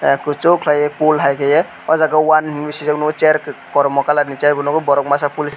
kosok kelai pool hai kei o jaga one hinui sijak nogo chair kormo colour ni chair bo nogo borok masa police.